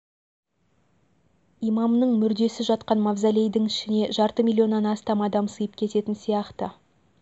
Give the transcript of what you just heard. имамның мүрдесі жатқан мавзолейдің ішіне жарты миллионнан астам адам сыйып кететін сияқты